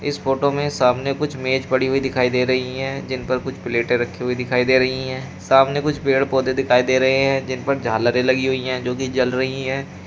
इस फोटो में सामने कुछ मेज पड़ी हुई दिखाई दे रही है जिन पर कुछ प्लेटे रखी हुई दिखाई दे रही है सामने कुछ पेड़ पौधे दिखाई दे रहे हैं जिन पर झालरे लगी हुई है जोकि जल रही है।